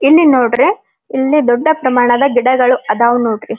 ಇಲ್ಲಿ ನೋಡ್ರಿ ಇಲ್ಲಿ ದೊಡ್ಡ ಪ್ರಮಾಣದ ಗಿಡಗಳು ಅದಾವ್ ನೋಡ್ರಿ.